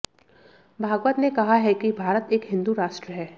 भागवत ने कहा है कि भारत एक हिन्दू राष्ट्र है